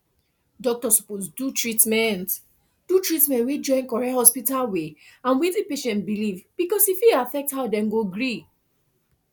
doctor suppose do treatment do treatment wey join correct hospital way and wetin patient believe because e fit affect how dem go gree